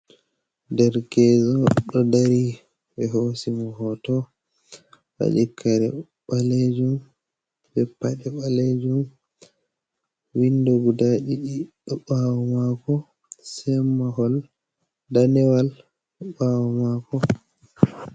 Dergezo do dari be hosimo hoto wadi kare ɓalejum be pade balejum, windo guda didi do ɓawo mako semahol danewal ɓawo mako.